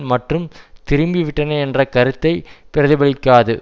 மற்றும் திரும்பிவிட்டனர் என்ற கருத்தை பிரதிபலிக்காது